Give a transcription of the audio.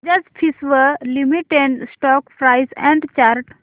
Bajaj Finserv limited stock price and chart